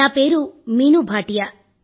నా పేరు మీనూ భాటియా